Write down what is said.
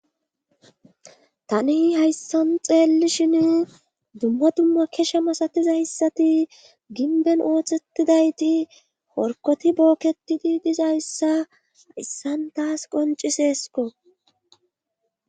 tani hayssan xeellishin dumma dumma kesha masatizayssati ginben ooththettidayti horkoti bookketidi dizayssa ayssan taas qonciseesko